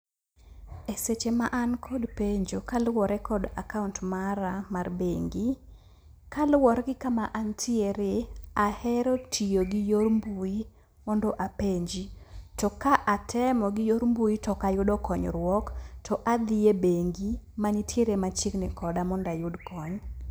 E seche ma an kod penjo kaluwore kod akaont mara mar bengi. Kaluwore gi kama antiere, ahero tiyo gi yor mbui mondo apenji. To ka atemo gi yor mbui to ok ayudo konyruok, to adhie bengi mantiere machiegni koda mond ayud kony.